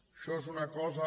això és una cosa